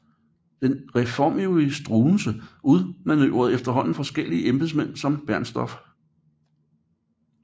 Den reformivrige Struensee udmanøvrerede efterhånden forskellige embedsmænd som Bernstorff